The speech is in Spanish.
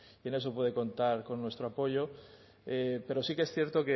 y en eso puede contar con nuestro apoyo pero sí que es cierto